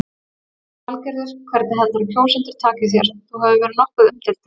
Lillý Valgerður: Hvernig heldurðu að kjósendur taki þér, þú hefur verið nokkuð umdeildur?